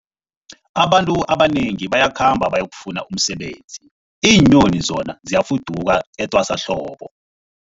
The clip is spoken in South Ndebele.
Abantu abanengi bayakhamba bayokufuna umsebenzi, iinyoni zona ziyafuduka etwasahlobo.